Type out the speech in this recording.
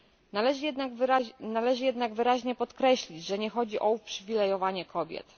Należy jednak wyraźnie podkreślić, że nie chodzi o uprzywilejowanie kobiet.